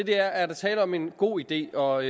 der er tale om en god idé og